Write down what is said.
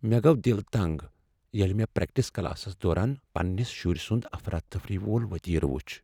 مےٚ گوٚو دل تنٛگ ییٚلہ مےٚ پرٛیکٹس کلاسس دوران پننِس شٗرِسٗند افرا تفری وول وتیرٕ وٗچھ ۔